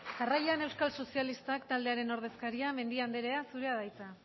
jarraian euskal sozialistak taldearen ordezkaria mendia andrea zurea da hitza